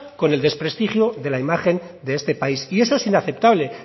con el desprestigio de la imagen de este país y eso es inaceptable